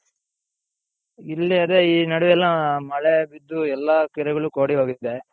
ಇಲ್ಲಿ ಅದೇ ಈ ನಡ್ವೆಯೇಲ್ಲಾ ಮಳೆ ಬಿದ್ದು ಎಲ್ಲಾ ಕೆರೆಗಳು ಕೋಡಿ ಹೋಗಿದೆ.